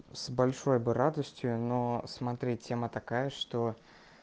с большой бы радостью но смотри тема такая что